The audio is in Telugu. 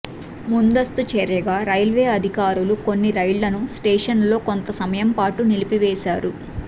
ముందస్తు చర్యగా రైల్వే అధికారులు కొన్ని రైళ్లను స్టేషన్లలో కొంత సమయంపాటు నిలిపివేశారు